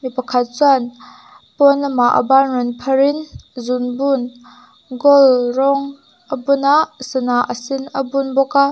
pakhat chuan pawnlamah a ban rawn phar in zungbun gold rawng a bun a sana a sen a bun bawk a.